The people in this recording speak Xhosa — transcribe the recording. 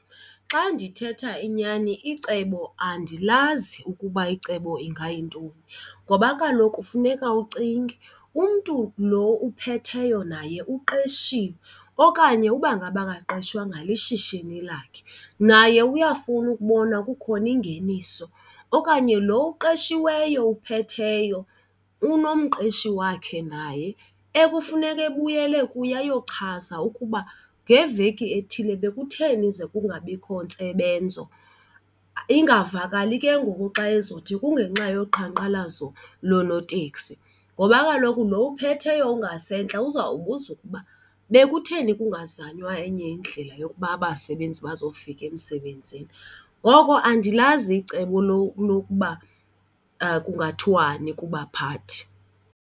Xa ndithetha inyani icebo, andilazi ukuba icebo ingayintoni ngoba kaloku kufuneka ucinge umntu lo uphetheyo naye uqeshiwe okanye uba ngaba akaqeshwanga lishishini lakhe, naye uyafuna ukubona kukhona ingeniso. Okanye lo uqeshiweyo uphetheyo unomqeshi wakhe naye ekufuneka ebuyele kuye ayochaza ukuba ngeveki ethile bekutheni ze kungabikho ntsebenzo, ingavakali ke ngoku xa ezothi kungenxa yoqhankqalazo loonotekisi ngoba kaloku lo ophetheyo ungasentla uzawubuza ukuba bekutheni kuzanywa enye indlela yokuba abasebenzi bazofika emsebenzini. Ngoko andilazi icebo lokuba kungathiwani kubaphathi.